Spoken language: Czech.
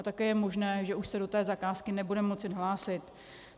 A také je možné, že už se do té zakázky nebude moci hlásit.